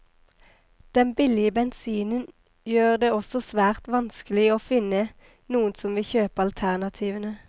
Den billige bensinen gjør det også svært vanskelig å finne noen som vil kjøpe alternativene.